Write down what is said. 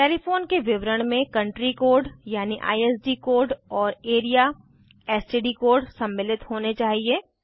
telephone के विवरण में कंट्री कोड यानि आईएसडी कोड और areaएसटीडी कोड सम्मिलित होने चाहिए